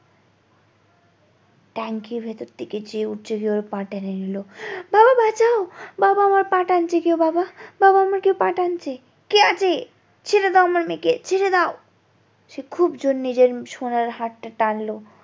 ট্যাংকির ভেতর থেকে যেই উঠছে যে ওর পা টেনে নিলো বাবা বাঁচাও বাবা আমার পা টানছে কে বাবা বাবা আমার কেউ পা টানছে কে আছে ছেড়ে দাও আমার মেয়েকে ছেড়েদাও সে খুব জোর নিজের সোনার হাত টা টানলো